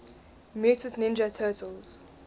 mutant ninja turtles